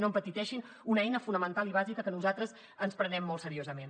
no empetiteixin una eina fonamental i bàsica que nosaltres ens prenem molt seriosament